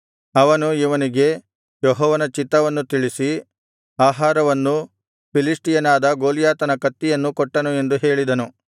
ಅವನು ಇವನಿಗೆ ಯೆಹೋವನ ಚಿತ್ತವನ್ನು ತಿಳಿಸಿ ಆಹಾರವನ್ನೂ ಫಿಲಿಷ್ಟಿಯನಾದ ಗೊಲ್ಯಾತನ ಕತ್ತಿಯನ್ನೂ ಕೊಟ್ಟನು ಎಂದು ಹೇಳಿದನು